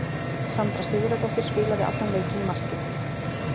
Sandra Sigurðardóttir spilaði allan leikinn í markinu.